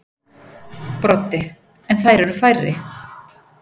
Broddi: En þær eru færri.